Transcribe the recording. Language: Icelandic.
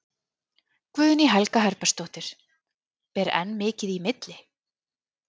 Guðný Helga Herbertsdóttir: Ber enn mikið í milli?